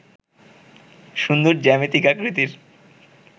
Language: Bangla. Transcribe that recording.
সুন্দর জ্যামিতিক আকৃতির